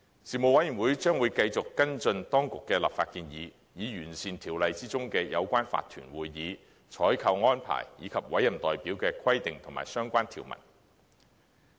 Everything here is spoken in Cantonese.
事務委員會將會繼續跟進當局的立法建議，以完善條例中有關法團會議、採購安排，以及委任代表的規定及相關條文。